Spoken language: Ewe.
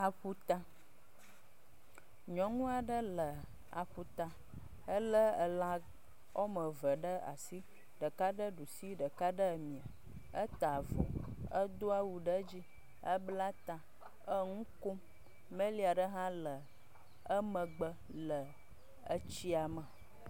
Aƒuta. Nyɔnua ɖe le aƒuta. Ele ela wɔ me eve ɖe asi. Ɖeka ɖe ɖusi, ɖeka ɖe mia. Eta avɔ, edo wu ɖee edzi, ebla ta ɖe, eŋu kom. Melia ɖe hã le emegbe le etsia me.